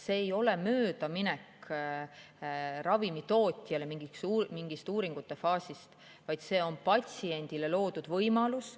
See ei tähenda ravimitootja möödaminekut mingist uuringute faasist, vaid see on patsiendile loodud võimalus.